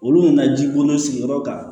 Olu nana jiko n'u sigiyɔrɔ kan